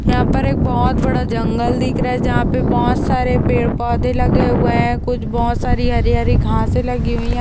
यहाँ पर एक बहोत बड़ा जंगल दिख रहा है जहाँ पे बहोत सारे पेड़ पौधे लगे हुए हैं कुछ बहोत सारी हरी हरी घासें लगी हुई हैं।